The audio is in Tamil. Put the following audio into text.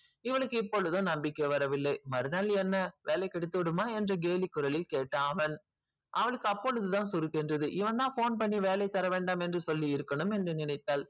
இவனுக்கு இப்போது நம்பிக்கை வரவில்லை வரலைனா என்ன வேலை கிடைத்துவிடுமா என்று கேலி குரலில் கேட்டான் அவன் அவளுக்கு அப்போது தான் சுருக்குனு இருந்தது இவன் தான் phone பண்ணி வேலை தரவேண்டாம் என்று சொல்லிருக்கணும் என்று நினைத்தால்